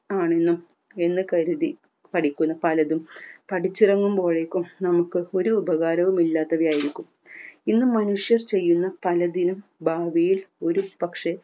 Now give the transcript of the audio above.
ആണെന്നും എന്ന് കരുതി പഠിക്കുന്ന പലതും പഠിച്ചിറങ്ങുമ്പോഴേക്കും നമുക്ക് ഒരു ഉപകാരവും ഇല്ലാത്തവയായിരിക്കും ഇന്ന് മനുഷ്യർ ചെയ്യുന്ന പലതിലും ഭാവിയിൽ ഒരു പക്ഷെ